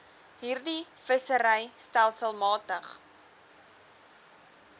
hierdie vissery stelselmatig